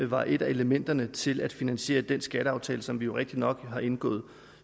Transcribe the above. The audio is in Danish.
var et af elementerne til at finansiere den skatteaftale som vi jo rigtigt nok har indgået